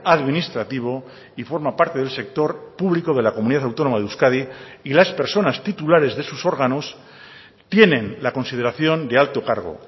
administrativo y forma parte del sector público de la comunidad autónoma de euskadi y las personas titulares de sus órganos tienen la consideración de alto cargo